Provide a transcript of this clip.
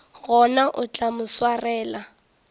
gona o tla mo swarela